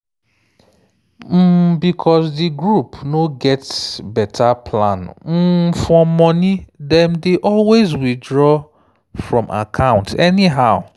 um because di group no get better plan um for money dem dey always withdraw from account anyhow.